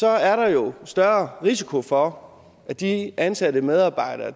er der jo større risiko for at de ansatte medarbejdere